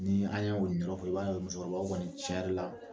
Ni an ye o ni yɔrɔ fɔ i b'a ye musokɔrɔba kɔni tiɲɛ yɛrɛ la